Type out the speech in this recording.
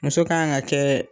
Muso ka kan ka kɛ.